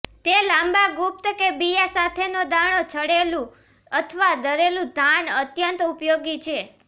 તે લાંબા ગુપ્ત કે બિયાં સાથેનો દાણો છડેલું અથવા દળેલું ધાન અત્યંત ઉપયોગી છે